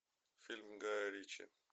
фильм гая ричи